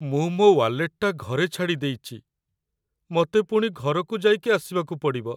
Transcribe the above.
ମୁଁ ମୋ' ୱାଲେଟଟା ଘରେ ଛାଡ଼ି ଦେଇଚି । ମତେ ପୁଣି ଘରକୁ ଯାଇକି ଆସିବାକୁ ପଡ଼ିବ ।